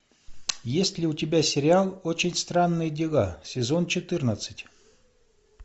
есть ли у тебя сериал очень странные дела сезон четырнадцать